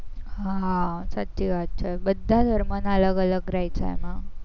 હા સાચી વાત છે, બધા ધર્મના અલગ અલગ રે છે એમાં